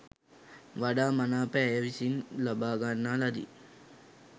වඩා මනාප ඇය විසින් ලබාගන්නා ලදි